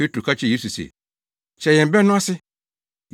Petro ka kyerɛɛ Yesu se, “Kyerɛ yɛn bɛ no ase.”